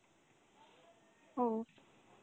ও.